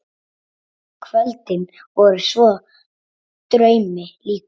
Kvöldin voru svo draumi líkust.